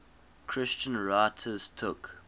christian writers took